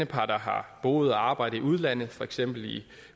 par der har boet og arbejdet i udlandet for eksempel i